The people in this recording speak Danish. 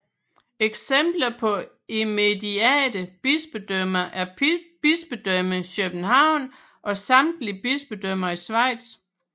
Eksempler på immediate bispedømmer er Bispedømmet København og samtlige bispedømmer i Schweiz